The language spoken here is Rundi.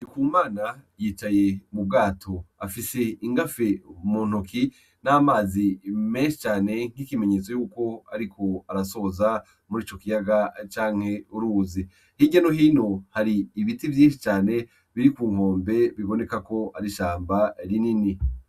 Ndikumana yicaye mu bwato afise ingafe ku ntoke n'amazi menshi cane nk'ikimenyetso yuko ariko asoza muri ico kiyaga canke uruzi, hirya no hino hari ibiti vyinshi cane biri ku nkombe bibonekako ari ishamba rinini.